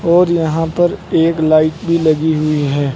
और यहां पर एक लाइट भी लगी हुई है।